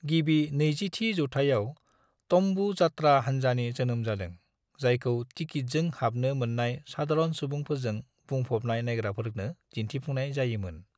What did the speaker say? गिबि 20थि जौथायाव 'तम्बु' जात्रा हानजानि जोनोम जादों, जायखौ टिकित जों हाबनो मोननाय साधारन सुबुंफोरजों बुंफबनाय नायग्राफोरनो दिन्थिफुंनाय जायो मोन।